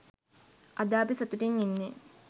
අද අපි සතුටින් ඉන්නේ.